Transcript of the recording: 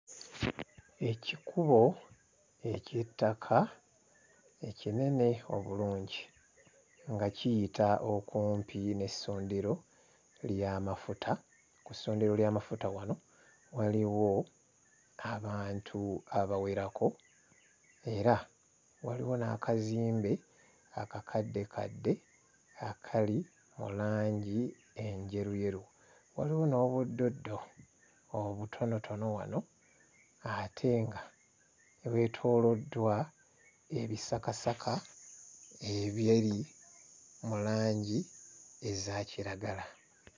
Ekikubo eky'ettaka ekinene obulungi nga kiyita okumpi n'essundiro ly'amafuta. Ku ssundiro ly'amafuta wano waliwo abantu abawerako era waliwo n'akazimbe akakaddekadde akali mu langi enjeruyeru, waliwo n'obuddoddo obutonotono wano ate nga bwetooloddwa ebisakasaka ebiri mu langi eza kiragala.